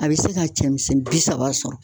A be se ka cɛmisɛn bi saba sɔrɔ